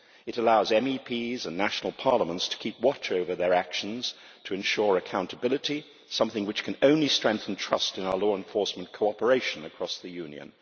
It allows MEPs and national parliaments to keep watch over their actions to ensure accountability, something which can only strengthen trust in our law enforcement cooperation across the Union.